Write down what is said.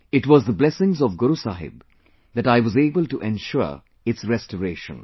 It was the blessings of Guru Sahib that I was able to ensure its restoration